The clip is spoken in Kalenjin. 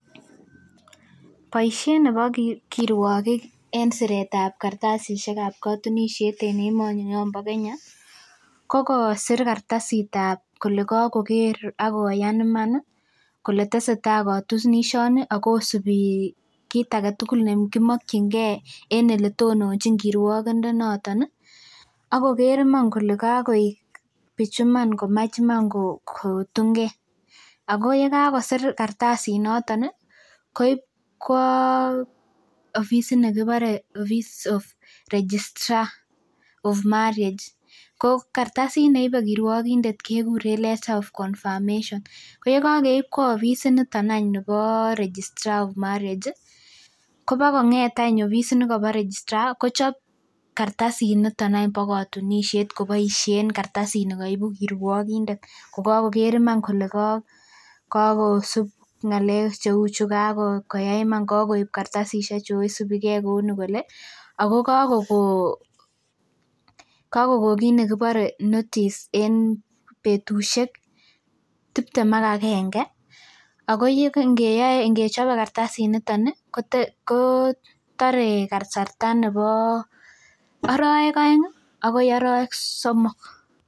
Boisiet nebo kirwokik en kartasitab kotunisiet en emoni nyoon bo Kenya , ko kosir kartasitab kole kokore akoyaan iman kole tesetai kotunisia ni Ako isubi kit agetugul nekimokyinge en olotononchin kirwokindet noton ih akoker iman kole kakoek iman kotunge ago yekakosir kartasit noto koib kwa ofisit nekibore registrar of marriage letter of confirmation ko yekokeib kwo office of registrar koboko ng'et eny ofisit nebo registrar kochob kartasit nito eny bo kotunisiet en kartasit nikoibu kirwokindet kokakoker iman kole kakosub ng'alek koyai iman koyai ng'alek Ako Ako ko kon kit nekibore notice nebo tiptem ak agenge Ako ingechobe kartasit nito ko tore kasarta nebo arawek aeng akoi arawek somok.